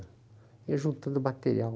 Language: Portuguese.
Ia juntando material.